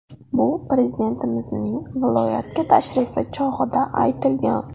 Bu Prezidentimizning viloyatga tashrifi chog‘ida aytilgan.